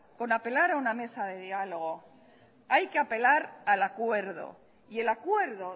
con apelar a una mesa de diálogo hay que apelar al acuerdo y el acuerdo